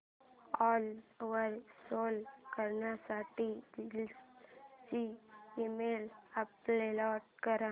ओला वर सेल करण्यासाठी जीन्स ची इमेज अपलोड कर